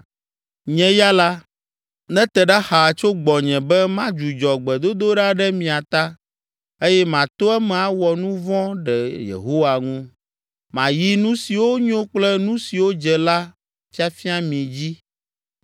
Nye ya la, nete ɖa xaa tso gbɔnye be madzudzɔ gbedodoɖa ɖe mia ta eye mato eme awɔ nu vɔ̃ ɖe Yehowa ŋu. Mayi nu siwo nyo kple nu siwo dze la fiafia mi dzi.